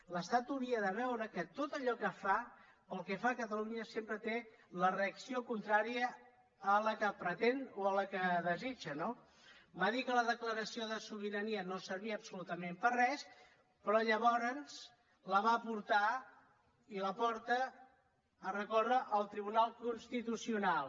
l’estat hauria de veure que tot allò que fa pel que fa a catalunya sempre té la reacció contrària a la que pretén o a la que desitja no va dir que la declaració de sobirania no servia absolutament per a res però llavors la va portar i la porta a recórrer al tribunal constitucional